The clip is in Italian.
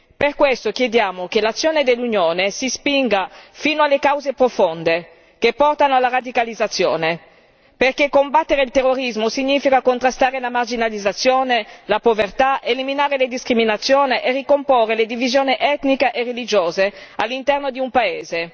Per questo chiediamo che l'azione dell'Unione si spinga fino alle cause profonde che portano alla radicalizzazione, perché combattere il terrorismo significa contrastare la marginalizzazione, la povertà, eliminare le discriminazioni e ricomporre le divisioni etniche e religiose all'interno di un paese.